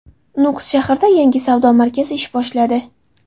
Nukus shahrida yangi savdo markazi ish boshladi.